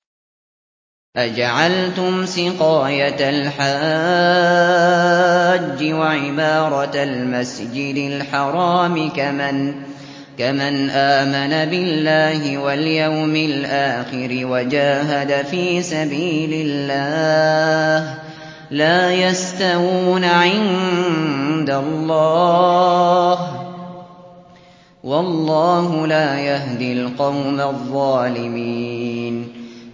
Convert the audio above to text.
۞ أَجَعَلْتُمْ سِقَايَةَ الْحَاجِّ وَعِمَارَةَ الْمَسْجِدِ الْحَرَامِ كَمَنْ آمَنَ بِاللَّهِ وَالْيَوْمِ الْآخِرِ وَجَاهَدَ فِي سَبِيلِ اللَّهِ ۚ لَا يَسْتَوُونَ عِندَ اللَّهِ ۗ وَاللَّهُ لَا يَهْدِي الْقَوْمَ الظَّالِمِينَ